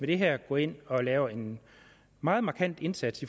det her går ind og gør en meget markant indsats